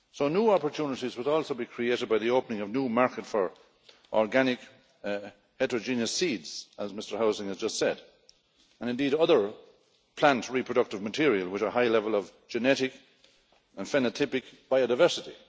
New opportunities will also be created by the opening of new markets for organic heterogeneous seeds, as Mr Häusling has just said, and indeed other plant reproductive material with a high level of genetic and phenotypic biodiversity.